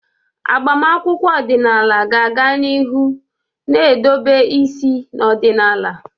Agbamakwụkwọ ọdịnala ga-aga n'ihu na-edobe isi n'ọdịnala.